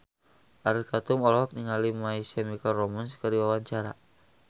Ariel Tatum olohok ningali My Chemical Romance keur diwawancara